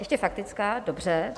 Ještě faktická, dobře.